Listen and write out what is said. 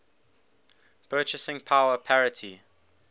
purchasing power parity